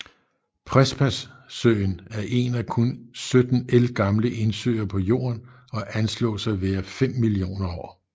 Prespasøen er en af kun 17 ældgamle indsøer på jorden og anslås at være fem millioner år